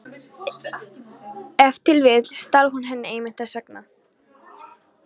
Ef til vill stal hún henni einmitt þess vegna.